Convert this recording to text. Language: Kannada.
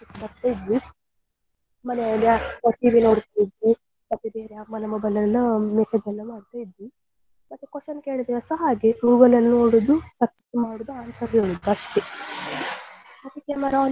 ಬರ್ತಾ ಇದ್ವಿ ಮನೆಯಲ್ಲಿ TV ಮತ್ತೆ ಬೇರೆ ಅಮ್ಮನ mobile ಅಲ್ಲೆಲ್ಲ message ಎಲ್ಲ ಮಾಡ್ತಾ ಇದ್ವಿ ಮತ್ತೆ question ಕೇಳಿದ್ರೆ ಸ ಹಾಗೆ Google ಅಲ್ಲಿ ನೋಡುದು search ಮಾಡುದು answer ಹೇಳುದು ಅಷ್ಟೇ ಮತ್ತೆ camera on ಮಾಡ್ಲಿಕ್ಕೆ